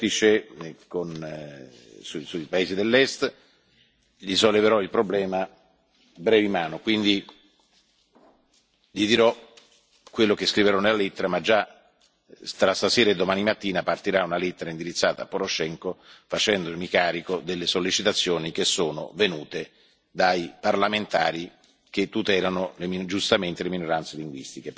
dell'incontro che avrò la prossima settimana, in occasione del Vertice sui paesi dell'Est, e gli solleverò il problema brevi manu. Quindi, gli dirò quello che scriverò nella lettera già tra stasera e domani mattina partirà una lettera indirizzata a Poroshenko facendomi carico delle sollecitazioni che sono venute